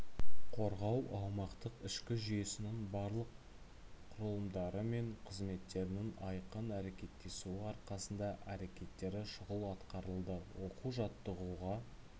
қорғау аумақтық ішкі жүйесінің барлық құралымдары мен қызметтерінің айқын әрекеттесуі арқасында әрекеттері шұғыл атқарылды оқу-жаттығуға